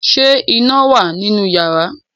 ṣe iná wá nínú iyàrá